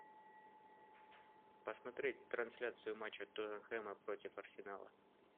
посмотреть трансляцию матча тоттенхэма против арсенала